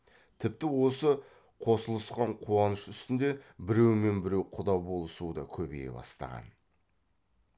тіпті осы қосылысқан қуаныш үстінде біреумен біреу құда болысу да көбейе бастаған